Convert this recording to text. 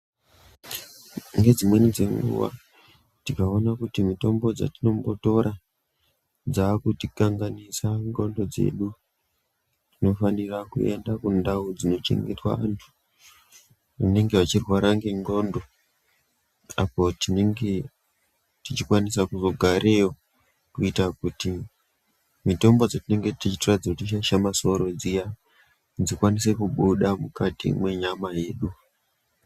Ngedzimweni dzenguwa, tikawona kuti mitombo dzetinombo tora dzaa kuti kanganisa ndxondo dzedu, tino fanira kuenda kundau dzino chengetwa antu anenge achirwara ngendxondo, apo tinenge tichikwanisa kuzo gareyo kuita kuti mitombo dzetinge tichitora dzeiti shaishe masoro dziya, dzikwanise kubuda mukati mwenyama yedu.